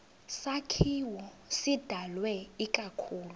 sakhiwo sidalwe ikakhulu